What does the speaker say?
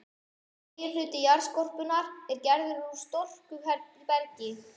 Meginhluti jarðskorpunnar er gerður úr storkubergi.